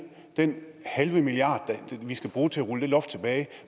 den halve milliard vi skal bruge til at rulle det loft tilbage